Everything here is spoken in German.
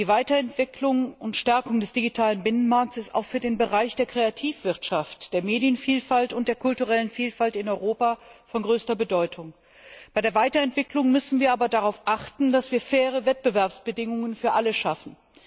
Die Weiterentwicklung und Stärkung des digitalen Binnenmarktes ist auch für den Bereich der Kreativwirtschaft, der Medienvielfalt und der kulturellen Vielfalt in Europa von größter Bedeutung. Bei der Weiterentwicklung müssen wir aber darauf achten, dass wir faire Wettbewerbsbedingungen für alle schaffen.